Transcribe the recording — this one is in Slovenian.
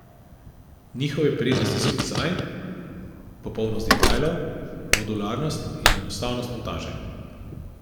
Njihove prednosti so dizajn, popolnost detajlov, modularnost in enostavnost montaže.